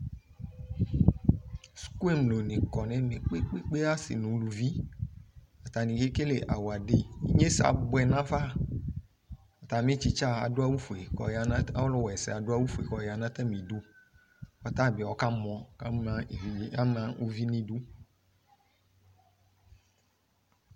Suku emlo ne kɔ no ɛmɛ koekpekpe, ase no aluviAtabe kekele awade Inyesɛ aboɛ no afa Atame tsitsa ado awufue kɔ ya no, ɔluwɛsɛ ado awufue kɔ ya no atame du ko ata be ɔka mɔ ko ama evidze, ama uvi no idu